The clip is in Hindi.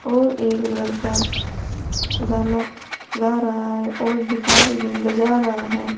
और एक लड़का गाना गा रहा है और गिटार भी बजा रहा है।